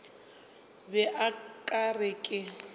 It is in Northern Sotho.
be o ka re ke